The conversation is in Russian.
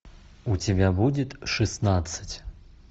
у тебя будет шестнадцать